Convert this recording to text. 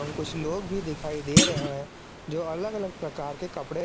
कुछ लोग भी दिखाई दे रहे हैं जो अलग अलग प्रकार के कपड़े--